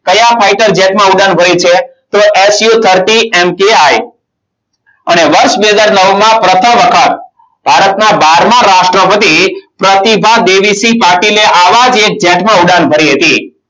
કયા fighter jet માં ઉડાન ભરી છે. તો su thirty mki અને વર્ષ બે હજાર નવ માં પ્રથમ વખત ભારતમાં બારમાં રાષ્ટ્રપતિ પ્રતિભા દેવીસિંહ પાટીલે આવા જ એક jet માં ઉડાન ભરી હતી.